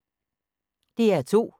DR2